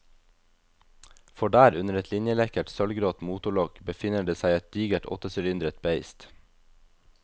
For der, under et linjelekkert sølvgrått motorlokk, befinner det seg et digert åttesylindret beist.